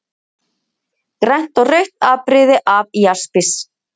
Grænt og rautt afbrigði af jaspis.